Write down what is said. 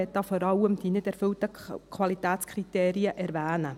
Ich möchte hier vor allem die nicht erfüllten Qualitätskriterien erwähnen.